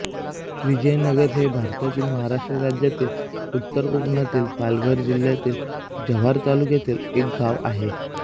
विजयनगर हे भारतातील महाराष्ट्र राज्यातील उत्तर कोकणातील पालघर जिल्ह्यातील जव्हार तालुक्यातील एक गाव आहे